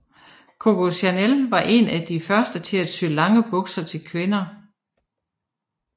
Coco Chanel var en af de første til at sy lange bukser til kvinder